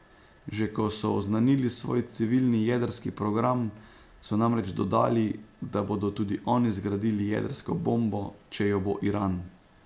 Že ko so oznanili svoj civilni jedrski program, so namreč dodali, da bodo tudi oni zgradili jedrsko bombo, če jo bo Iran.